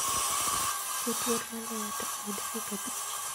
Ket wer maluwe to ei dakika abich